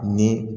Ni